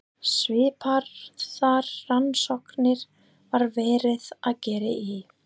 Svipaðar rannsóknir var verið að gera í